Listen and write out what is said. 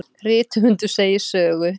Rithöfundur segir sögu.